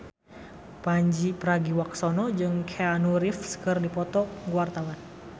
Pandji Pragiwaksono jeung Keanu Reeves keur dipoto ku wartawan